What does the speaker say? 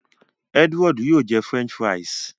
Edward yóò jẹ french fries.